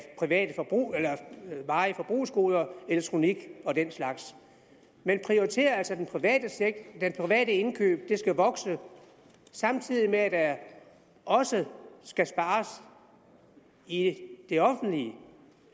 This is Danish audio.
varige forbrugsgoder elektronik og den slags man prioriterer altså de private indkøb de skal vokse samtidig med at der også skal spares i det offentlige